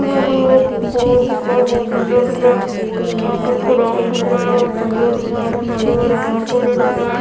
दिख रहा है ग्राउंड दिख रहा है सुन्दर दिख रहा है यहाँ पास हरे भरे पेड़ पौधे दिख रहा है।